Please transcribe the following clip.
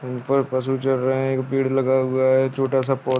ऊपर पसु चल रहे हैं एक पेड़ लगा हुआ है छोटा सा पौ--